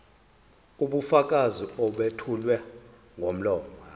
ubufakazi obethulwa ngomlomo